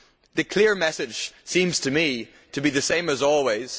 The clear message seems to me to be the same as always.